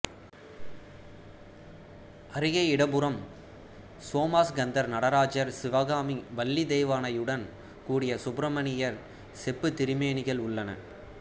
அருகே இடப்புறம் சோமாஸ்கந்தர் நடராஜர் சிவகாமி வள்ளி தெய்வானையுடன் கூடிய சுப்பிரமணியர் செப்புத்திருமேனிகள் உள்ளன